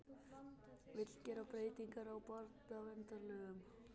Vill gera breytingar á barnaverndarlögum